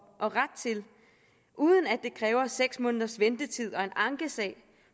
og ret til uden at det kræver seks måneders ventetid og en ankesag